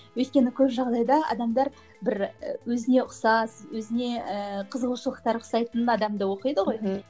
өйткені көп жағдайда адамдар бір і өзіне ұқсас өзіне ііі қызығушылықтары ұқсайтын адамда оқиды ғой мхм